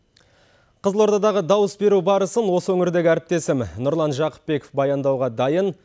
қызылордадағы дауыс беру барысын осы өңірдегі әріптесім нұрлан жақыпбеков баяндауға дайын